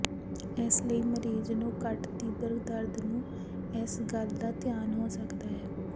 ਇਸ ਲਈ ਮਰੀਜ਼ ਨੂੰ ਘੱਟ ਤੀਬਰ ਦਰਦ ਨੂੰ ਇਸ ਗੱਲ ਦਾ ਧਿਆਨ ਹੋ ਸਕਦਾ ਹੈ